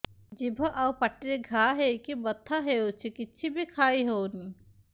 ଜିଭ ଆଉ ପାଟିରେ ଘା ହେଇକି ବଥା ହେଉଛି କିଛି ବି ଖାଇହଉନି